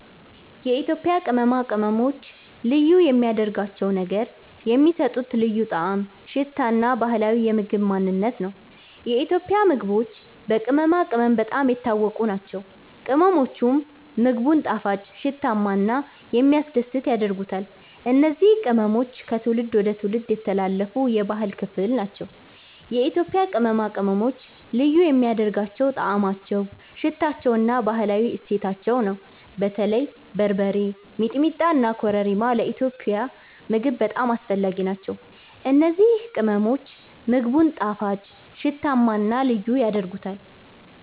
የኢትዮጵያ ቅመማ ቅመሞች ልዩ የሚያደርጋቸው ነገር የሚሰጡት ልዩ ጣዕም፣ ሽታ እና ባህላዊ የምግብ ማንነት ነው። የኢትዮጵያ ምግቦች በቅመማ ቅመም በጣም የታወቁ ናቸው፤ ቅመሞቹም ምግቡን ጣፋጭ፣ ሽታማ እና የሚያስደስት ያደርጉታል። እነዚህ ቅመሞች ከትውልድ ወደ ትውልድ የተላለፉ የባህል ክፍል ናቸው። የኢትዮጵያ ቅመማ ቅመሞች ልዩ የሚያደርጋቸው ጣዕማቸው፣ ሽታቸው እና ባህላዊ እሴታቸው ነው። በተለይ በርበሬ፣ ሚጥሚጣ እና ኮረሪማ ለኢትዮጵያዊ ምግብ በጣም አስፈላጊ ናቸው። እነዚህ ቅመሞች ምግቡን ጣፋጭ፣ ሽታማ እና ልዩ ያደርጉታል።